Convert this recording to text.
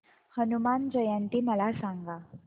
हनुमान जयंती मला सांगा